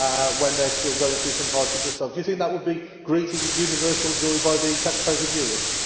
when they are still going through some hardship themselves? Do you think that would be greeted with universal joy by the taxpayers of Europe?